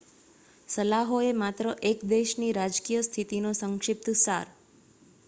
સલાહો એ માત્ર એક દેશની રાજકીય સ્થિતિનો સંક્ષિપ્ત સાર